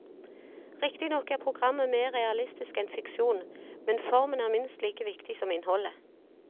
Riktignok er programmet mer realistisk enn fiksjon, men formen er minst like viktig som innholdet.